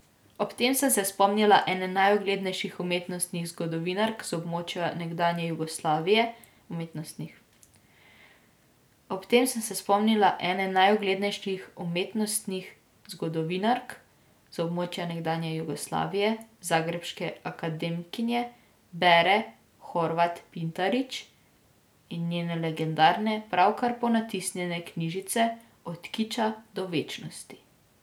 Ob tem sem se spomnila ene najuglednejših umetnostnih zgodovinark z območja nekdanje Jugoslavije, zagrebške akademkinje Vere Horvat Pintarić, in njene legendarne, pravkar ponatisnjene knjižice Od kiča do večnosti.